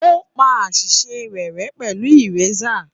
Ó pa àṣìṣe rẹ̀ rẹ pẹ̀lú ìrésà